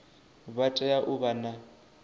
vha tea u vha na